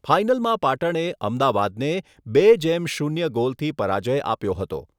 ફાઈનલમાં પાટણે અમદાવાદને બે જેમ શૂન્ય ગોલથી પરાજ્ય આપ્યો હતો.